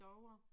Davre